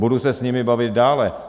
Budu se s nimi bavit dále.